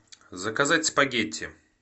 заказать спагетти